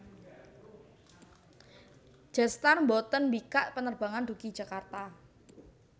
Jetstar mboten mbikak penerbangan dugi Jakarta